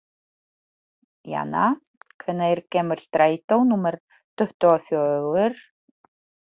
Jana, hvenær kemur strætó númer tuttugu og fjögur?